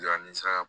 A ni saga